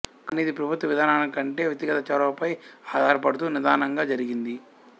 కానీ ఇది ప్రభుత్వ విధానానికంటే వ్యక్తిగత చొరవపై ఆధారపడుతూ నిదానంగా జరిగింది